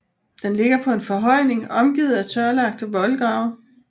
Den ligger på en forhøjning omgivet af tørlagte voldgrave